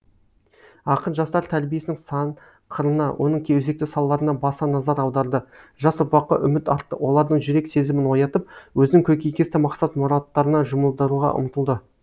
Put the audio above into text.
ақын жастар тәрбиесінің сан қырына оның өзекті салаларына баса назар аударды жас ұрпаққа үміт артты олардың жүрек сезімін оятып өзінің көкейкесті мақсат мұраттарына жұмылдыруға ұмтылды